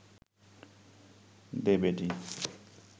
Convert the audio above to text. দে বেটী